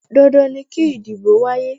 Dandan ni kí ìdìbò wáyé.